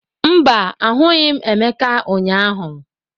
Mba, ahụghị m Emeka ụnyahụ.